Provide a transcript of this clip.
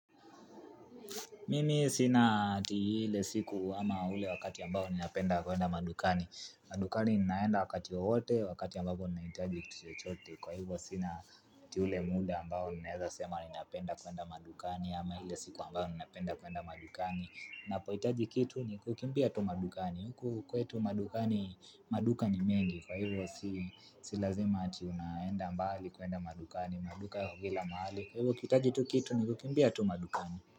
Mimi sina ati ile siku ama ule wakati ambao ninapenda kuenda madukani. Madukani ninaenda wakati wowote wakati ambapo ninahitaji kitu chochote. Kwa hivyo sina ati ule muda ambao ninaweza sema ninapenda kuenda madukani ama ile siku ambayo ninapenda kuenda madukani. Napohitaji kitu ni kukimbia tu madukani. Huku kwetu madukani, maduka ni mengi. Kwa hivyo si lazima ati unaenda mbali kuenda madukani, maduka yako kila mahali. Kwa hivyo ukihitaji tu kitu ni kukimbia tu madukani.